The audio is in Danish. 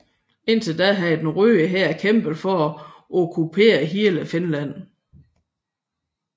Indtil da havde den Røde Hær kæmpet for at okkupere hele Finland